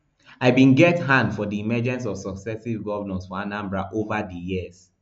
i bin get hand for di emergence of successive govnors for anambra ova di years